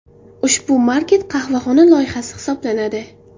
Ushbu maket qahvaxona loyihasi hisoblanadi.